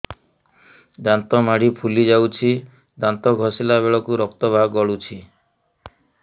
ଦାନ୍ତ ମାଢ଼ୀ ଫୁଲି ଯାଉଛି ଦାନ୍ତ ଘଷିଲା ବେଳକୁ ରକ୍ତ ଗଳୁଛି